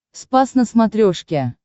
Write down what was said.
спас на смотрешке